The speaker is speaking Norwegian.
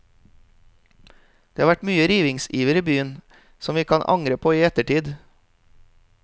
Det har vært mye rivningsiver i byen som vi kan angre på i ettertid.